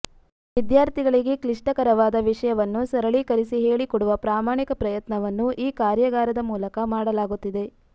ವಿದ್ಯಾರ್ಥಿಗಳಿಗೆ ಕ್ಲಿಷ್ಟಕರವಾದ ವಿಷಯವನ್ನು ಸರಳೀಕರಿಸಿ ಹೆಳಿಕೊಡುವ ಪ್ರಾಮಾಣಿಕ ಪ್ರಯತ್ನವನ್ನು ಈ ಕಾರ್ಯಾಗಾರದ ಮೂಲಕ ಮಾಡಲಾಗುತ್ತಿದೆ